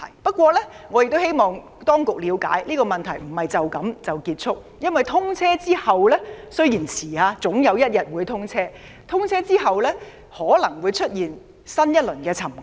不過，我希望當局了解，這些問題不會就此結束，因為通車後——雖然延遲了，但總有一天會通車——可能會出現新一輪沉降。